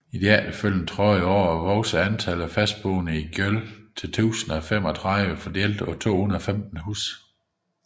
I de efterfølgende 30 år voksede antallet af fastboende i Gjøl til 1035 fordelt på 215 husstande